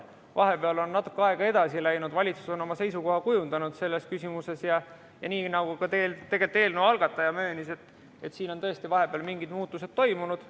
Vahepeal on natuke aega edasi läinud, valitsus on selles küsimuses oma seisukoha kujundanud ja nii nagu ka eelnõu algataja möönis, siin on tõesti vahepeal mingid muutused toimunud.